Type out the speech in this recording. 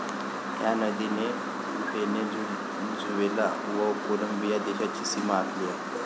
ह्या नदीने व्हेनेझुवेला व कोलंबिया देशांची सीमा आखली आहे.